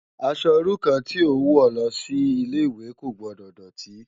Aṣò irú kàn ti ó n wò lòsi Ilé iwé kó gbòdò dòtí